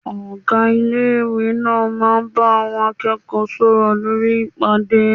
Ọgá Ilé-ìwé náà ń bá àwọn akẹ́kọ̀ọ́ náà sọ̀rọ̀ lórí pápá ìpàdé